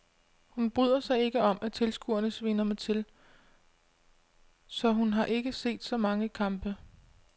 Hun bryder sig ikke om at tilskuerne sviner mig til, så hun har ikke set så mange kampe.